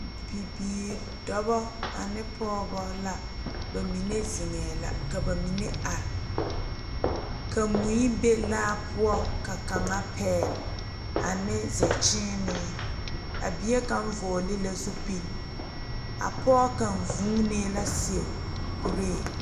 Bibiiri dɔɔba ane pɔgeba la bamine zeŋe la ka bamine are ka mui be laa poɔ ka kaŋa pegle ane zakyiine a bie kaŋa vɔgle la zupele a pɔge kaŋ vuunee la seɛ kuri.